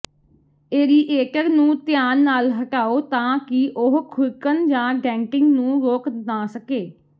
aerator ਨੂੰ ਧਿਆਨ ਨਾਲ ਹਟਾਓ ਤਾਂ ਕਿ ਉਹ ਖੁਰਕਣ ਜਾਂ ਡੈਂਟਿੰਗ ਨੂੰ ਰੋਕ ਨਾ ਸਕੇ